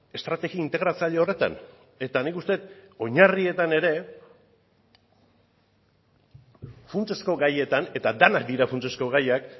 estrategia integratzaile horretan eta nik uste dut oinarrietan ere funtsezko gaietan eta denak dira funtsezko gaiak